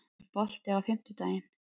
Þorleikur, er bolti á fimmtudaginn?